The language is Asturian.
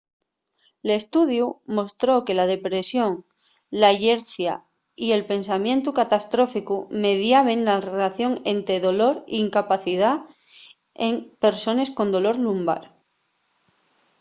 l'estudiu mostró que la depresión la llercia y el pensamientu catastróficu mediaben na relación ente dolor y incapacidá en persones con dolor lumbar